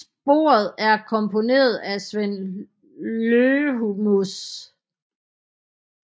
Sporet er komponeret af Sven Lõhmus